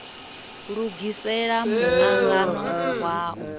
lugisela mu angano wa u